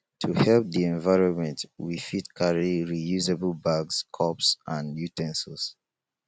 to help di environment we fit carry reusable bags cups and u ten sils